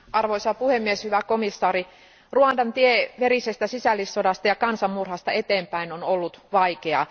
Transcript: Arvoisa puhemies, hyvä komission jäsen, Ruandan tie verisestä sisällissodasta ja kansanmurhasta eteenpäin on ollut vaikea.